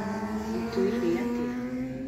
Ũtooriĩ atia